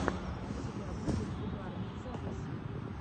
у тебя будет угарные записи